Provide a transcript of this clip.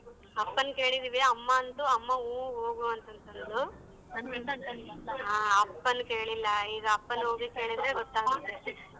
ಅಪ್ಪನ್ ಕೇಳಿದೀವಿ ಅಮ್ಮ ಅಂತೂ ಅಮ್ಮ ಊ ಹೋಗು ಹೋಗುವಂತಂದ್ಲು. ಅಪ್ಪನ್ ಕೇಳಿಲ್ಲ ಈಗ ಅಪ್ಪನ್ ಓಗಿ ಕೇಳಿದ್ರೆ ಗೊತ್ತಾಗತ್ತೆ.